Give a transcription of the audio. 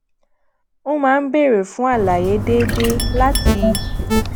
ó máa ń béèrè fún àlàyé déédéé láti